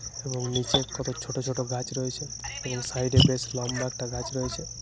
এবং নিচে কতক ছোট ছোট গাছ রয়েছে। এবং সাইডে বেশ লম্বা একটা গাছ রয়েছে।